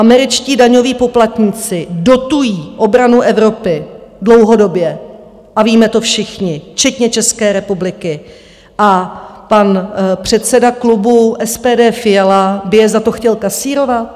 Američtí daňoví poplatníci dotují obranu Evropy dlouhodobě, a víme to všichni, včetně České republiky, a pan předseda klubu SPD Fiala by je za to chtěl kasírovat?